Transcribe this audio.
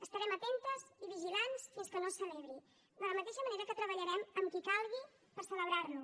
estarem atentes i vigilants fins que no es celebri de la mateixa manera que treballarem amb qui calgui per celebrar lo